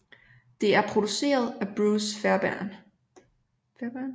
Det er produceret af Bruce Fairbairn